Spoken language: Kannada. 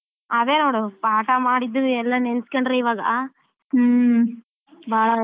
ಅದೇ ನೋಡು ಪಾಠ ಮಾಡಿದ್ದು ಎಲ್ಲ ನೆನ್ಸ್ಕೊಂಡ್ರೆ ಇವಾಗ ಹ್ಮ್ ಬಾಳ